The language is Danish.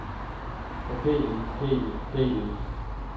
forkælet forkælet forkælet